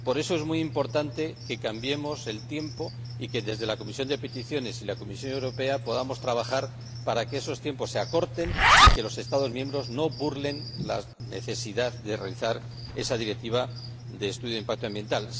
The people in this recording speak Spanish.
Por eso es muy importante que cambiemos el tiempo y que, desde la Comisión de Peticiones y la Comisión Europea, podamos trabajar para que esos tiempos se acorten y los Estados miembros no burlen la necesidad de aplicar esa Directiva de estudio de impacto ambiental.